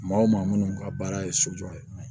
Maa o maa minnu ka baara ye sojɔ ye